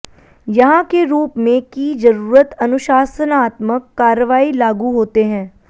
यहाँ के रूप में की जरूरत अनुशासनात्मक कार्रवाई लागू होते हैं